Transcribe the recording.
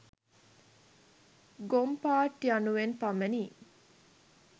ගොංපාට්යනුවෙන් පමණි.